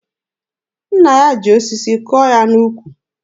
Nna ya ji osisi kụọ ya n'ukwu.